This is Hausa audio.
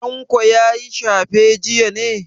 Tanko ya yi shafe jiya ne?